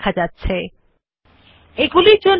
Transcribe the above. আবার ডান mouse click করে পাস্তে বিকল্প উপর ক্লিক করুন